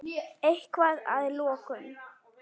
Eitthvað að að lokum?